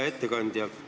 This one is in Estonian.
Hea ettekandja!